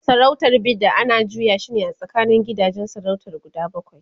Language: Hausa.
sarautar Bida ana juya shine a tsakanin gidajen sarautar guda bakwai